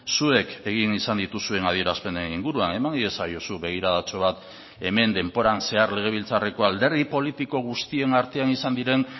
zuek egin izan dituzuen adierazpenen inguruan eman iezaiozu begiradatxo bat hemen denboran zehar legebiltzarreko alderdi politiko guztien artean izan diren